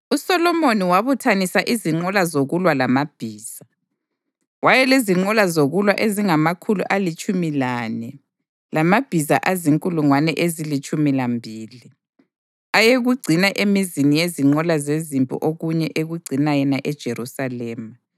USolomoni wabuthanisa izinqola zokulwa lamabhiza; wayelezinqola zokulwa ezingamakhulu alitshumi lane lamabhiza azinkulungwane ezilitshumi lambili, ayekugcina emizini yezinqola zezimpi okunye ekugcina yena eJerusalema.